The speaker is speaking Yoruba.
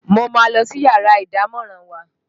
Mo máa ń lọ sí yàrá ìdámọ̀ràn wa